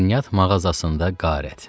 Şirniyyat mağazasında qarət.